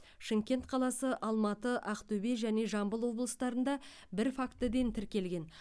шымкент қаласы алматы ақтөбе және жамбыл облыстарында бір фактіден тіркелген